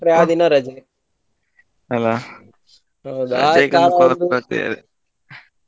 ಆಗೆಲ್ಲಾ ರಜೆ ಆ ಕಾರಣಕೆಲ್ಲ .